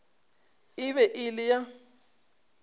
e be e le ya